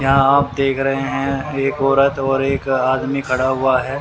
यहां आप देख रहे हैं एक औरत और एक आदमी खड़ा हुआ है।